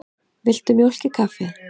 Viltu mjólk í kaffið?